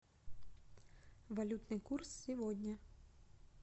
валютный курс сегодня